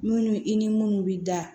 Munnu i ni munnu bɛ da